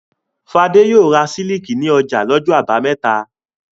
Fadé yóò ra sílíkì ní ọjà lọ́jọ́ àbámẹ́ta.